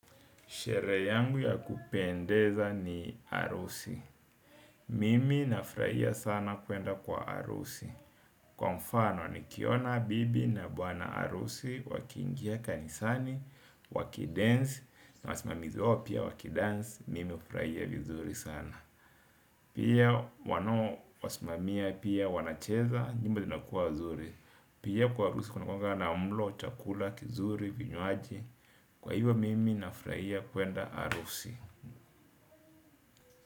Sherehe yangu ya kupendeza ni harusi. Mimi nafurahia sana kuenda kwa harusi. Kwa mfano nikiona bibi na bwana harusi, wakiingia kanisani, waki dance, na wasimamizi wao pia wakidance, mimi ufuraia vizuri sana. Pia wanao wasimamia pia wanacheza, nyimbo zinakuwa zuri. Pia kwa harusi kuna kuanga na mlo, chakula, kizuri, vinywaji. Kwa hivo mimi nafuraia kuenda arusi.